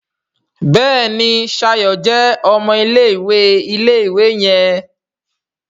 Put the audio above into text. Béèni Shayo jé ọmọ ilé-ìwé ilé-ìwé yen.